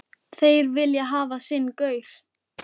Þeir vilja hafa sinn gaur.